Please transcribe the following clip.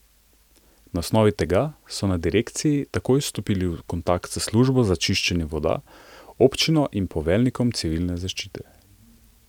Na osnovi tega so na direkciji takoj stopili v kontakt s službo za čiščenje voda, občino in poveljnikom Civline zaščite.